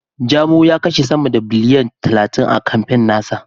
Jamo ya kashe sama da biliyan talatin a kamfen na sa.